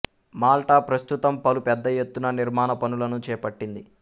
Malta ప్రస్తుతం పలు పెద్ద ఎత్తున నిర్మాణ పనులను చేపట్టింది